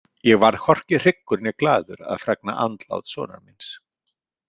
Ég varð hvorki hryggur né glaður að fregna andlát sonar míns.